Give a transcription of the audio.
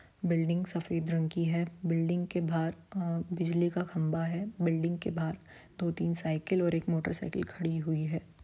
Building सफ़ेद रंग की है बिल्डिंग के बाहर बिजली का खंभा है बिल्डिंग के बाहर दो-तीन साइकिल और एक मोटरसाइकिल खड़ी हुई है।